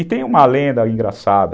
E tem uma lenda engraçada.